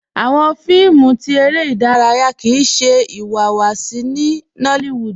Awọn fíìmù tí èrè idaraya kíí ṣẹ iwáwáṣí ní Nollywood